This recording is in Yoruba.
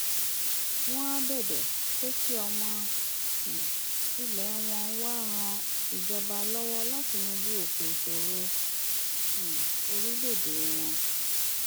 wọn áà bẹbẹ pé kí ọmọ um ilẹ wọn wàá ran ìjọba lọwọ láti yanjú òkè ìṣòro um orílẹèdè wọn